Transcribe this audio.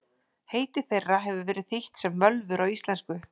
Heiti þeirra hefur verið þýtt sem völvur á íslensku.